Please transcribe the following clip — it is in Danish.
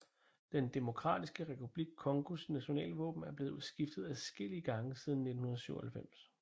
Den Demokratiske Republik Congos nationalvåben er blevet skiftet adskillige gange siden 1997